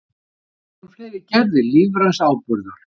Sama gildir um fleiri gerðir lífræns áburðar.